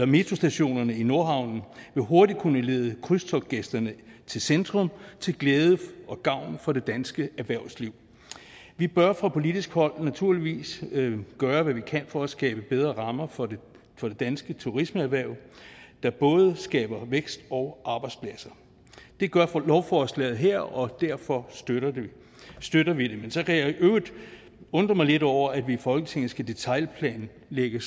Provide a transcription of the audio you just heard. metrostationerne i nordhavnen vil hurtigt kunne lede krydstogtgæsterne til centrum til glæde og gavn for det danske erhvervsliv vi bør fra politisk hold naturligvis gøre hvad vi kan for at skabe bedre rammer for det danske turismeerhverv der både skaber vækst og arbejdspladser det gør lovforslaget her og derfor støtter støtter vi det så kan jeg i øvrigt undre mig lidt over at vi i folketinget skal detailplanlægge